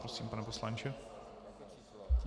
Prosím, pane poslanče.